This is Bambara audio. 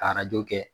Ka arajo kɛ